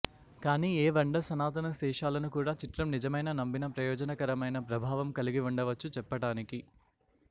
కానీ ఏ వండర్ సనాతన శేషాలను కూడా చిత్రం నిజమైన నమ్మిన ప్రయోజనకరమైన ప్రభావం కలిగి ఉండవచ్చు చెప్పటానికి